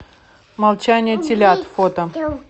молчание телят фото